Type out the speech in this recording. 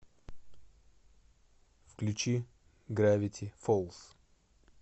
включи гравити фолз